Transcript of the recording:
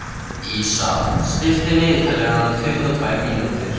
Dísa, stilltu niðurteljara á tuttugu og tvær mínútur.